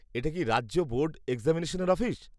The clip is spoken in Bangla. এটা কি রাজ্য বোর্ড এক্সামিনেশনের অফিস?